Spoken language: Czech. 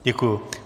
Děkuji.